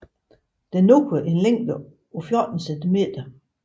Den når en længde på 14 cm